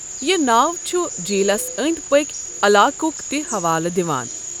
یہِ ناو چھ جھیٖلس أنٛدۍ پٔکۍ علاقک تہ حوالہٕ دِوان۔